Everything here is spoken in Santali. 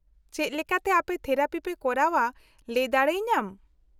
-ᱪᱮᱫ ᱞᱮᱠᱟᱛᱮ ᱟᱯᱮ ᱛᱷᱮᱨᱟᱯᱤ ᱯᱮ ᱠᱚᱨᱟᱣᱼᱟ ᱞᱟᱹᱭ ᱫᱟᱲᱮᱭᱟᱹᱧᱟᱢ ?